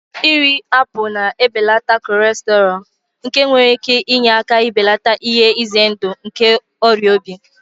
Iri apụl na-ebelata kọlesterọọl, nke nwere ike inye aka belata ihe ize ndụ nke ọrịa obi.